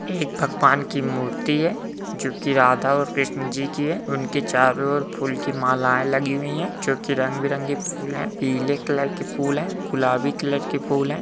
ये एक भगवान की मूर्ति है जो कि राधा और कृष्ण जी की है। उनके चारों ओर फूल की मालाएं लगी हुई हैं जो कि रंग बिरंगे फूल हैं पीले कलर के फूल हैं गुलाबी कलर के फूल हैं।